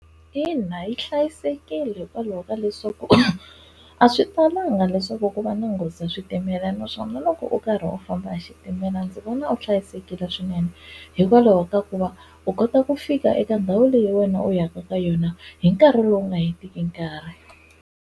Ina yi hlayisekile hikwalaho ka leswaku a swi talanga leswaku ku va na nghozi ya switimela naswona loko u karhi u famba hi xitimela ndzi vona u hlayisekile swinene hikwalaho ka ku va u kota ku fika eka ndhawu leyi wena u yaka ka yona hi nkarhi lowu nga hetiki nkarhi.